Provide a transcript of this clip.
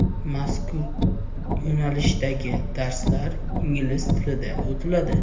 Mazkur yo‘nalishdagi darslar ingliz tilida o‘tiladi.